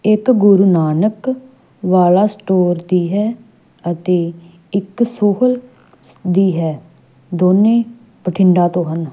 ਇੱਕ ਗੁਰੂ ਨਾਨਕ ਵਾਲਾ ਸਟੋਰ ਦੀ ਹੈ ਅਤੇ ਇੱਕ ਸੋਹਲ ਦੀ ਹੈ ਦੋਨੇ ਬਠਿੰਡਾ ਤੋਂ ਹਨ।